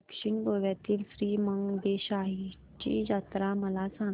दक्षिण गोव्यातील श्री मंगेशाची जत्रा मला सांग